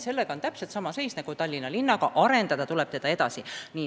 Sellega on täpselt sama seis nagu Tallinna linnaga, arendada tuleb teda muudkui edasi.